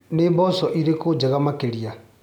Nĩ mboco irĩkũ njega makĩria.